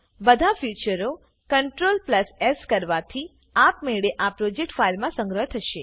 બધા ફ્યુંચરો CTRL Sકરવાથી આપમેળે આ પ્રોજેક્ટ ફાઈલ મા સંગ્રહ થશે